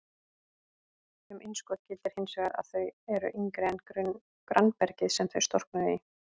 Um innskot gildir hins vegar að þau eru yngri en grannbergið sem þau storknuðu í.